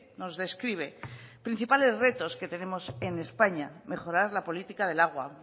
nos describe principales retos que tenemos en españa mejorar la política del agua